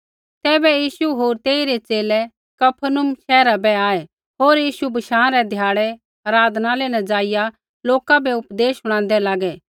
तैबै यीशु होर तेइरै च़ेले कफरनहूम शैहरा बै आऐ होर यीशु बशाँ रै ध्याड़ै आराधनालय न जाईया लोका बै उपदेश शुणादै लागै